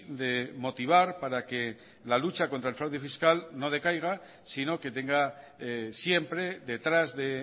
de motivar para que la lucha contra el fraude fiscal no decaiga sino que tenga siempre detrás de